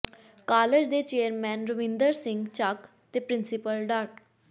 college ਦੇ chairman Ravinder Singh Chak ਤੇ principal ਡਾ